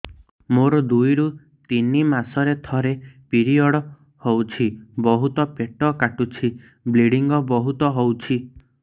ମୋର ଦୁଇରୁ ତିନି ମାସରେ ଥରେ ପିରିଅଡ଼ ହଉଛି ବହୁତ ପେଟ କାଟୁଛି ବ୍ଲିଡ଼ିଙ୍ଗ ବହୁତ ହଉଛି